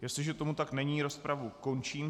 Jestliže tomu tak není, rozpravu končím.